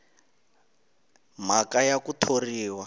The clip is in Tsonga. b mhaka ya ku thoriwa